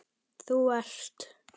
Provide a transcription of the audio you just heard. Þú ert